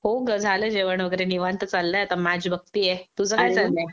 हो ग झालं जेवण वगैरे निवांत चाललंय आता मॅच बघतिये.तुझं काय चाललंय?